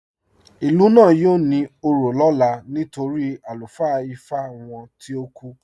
Ilú náà yóò ní ò̩rọ̀ lọlá nítorí alufaa Ìfá wọn tìí o kú.